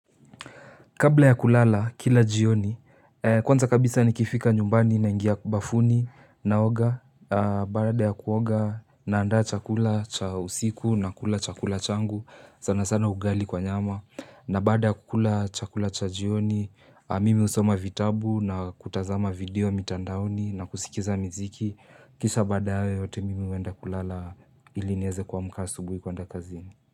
Kabla ya kulala, kila jioni, kwanza kabisa ni kifika nyumbani na ingia bafuni na oga, baada ya kuoga na andaa chakula cha usiku na kula chakula changu, sana sana ugali kwa nyama. Na baada ya kukula chakula cha jioni, mimi usoma vitabu na kutazama video mitandaoni na kusikiza miziki. Kisha badaye yote mimi uenda kulala ilinieze kuamka asubuhi kuenda kazini.